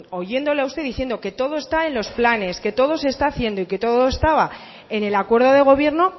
oyéndola a usted diciendo que todo están en los planes que todo se está haciendo y que todo estaba en el acuerdo de gobierno